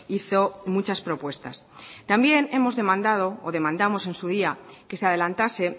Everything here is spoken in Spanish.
hizo muchas propuestas también hemos demandado o demandamos en su día que se adelantase